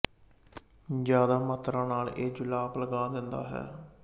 ਜ਼ਿਆਦਾ ਮਾਤਰਾ ਨਾਲ਼ ਇਹ ਜੁਲਾਬ ਲਗਾ ਦਿੰਦਾ ਹੈ